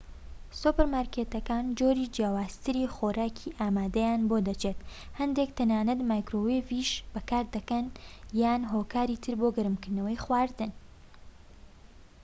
سوپەرمارکێتەکان جۆری جیاوازتری خۆراکی ئامادەیان بۆ دەچێت هەندێك تەنانەت مایکرۆوەیڤیش ئامادە دەکەن یان هۆکاری تر بۆ گەرمکردنەوەی خواردن